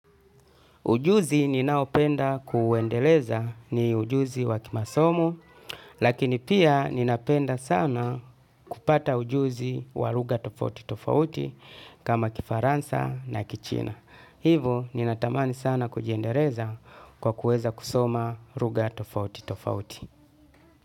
Ujuzi ninaopenda kuendeleza ni ujuzi wa kimasomo, lakini pia ninapenda sana kupata ujuzi wa lugha tofauti tofauti kama kifaransa na kichina. Hivo ninatamani sana kujiendeleza kwa kuweza kusoma lugha tofauti tofauti.